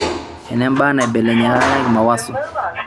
enembaa naibelekenyieki mawaso